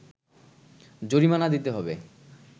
জরিমানা দিতে হবে